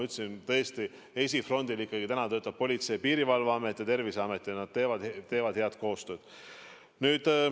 Nagu ma ütlesin, esifrondil töötavad Politsei- ja Piirivalveamet ja Terviseamet ning nad teevad head koostööd.